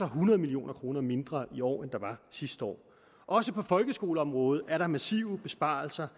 hundrede million kroner mindre i år end der var sidste år også på folkeskoleområdet er der massive besparelser